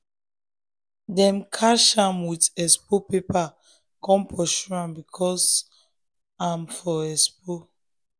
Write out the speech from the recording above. them catch am with expo paper come pursue am because am for expo.